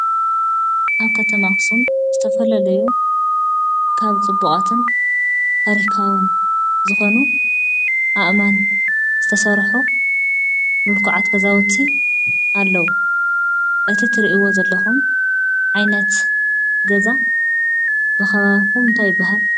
ኣብ ከተማ ኣኽሱም ዝተፈላለዩ ካብ ፅቡቓትን ታሪካውን ዝኾኑ ኣእማን ዝተሰርሑ ምልኩዓት ገዛዉቲ ኣለዉ። እቲ ትርእይዎ ዘለኹም ዓይነት ገዛ ብኸባቢኩም እንታይ ይብሃል?